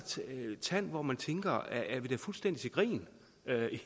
tand hvor man tænker er vi da fuldstændig til grin